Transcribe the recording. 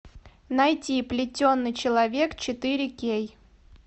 найти плетеный человек четыре кей